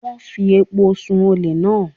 Wọ́n fi epo sun-ùn olè náà.